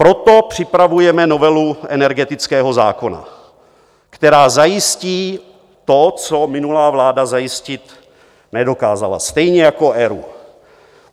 Proto připravujeme novelu energetické zákona, která zajistí to, co minulá vláda zajistit nedokázala, stejně jako ERÚ.